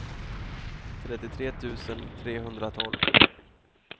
trettiotre tusen trehundratolv